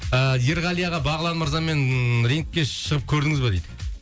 а ерғали аға бағлан мырзамен рингке шығып көрдіңіз ба дейді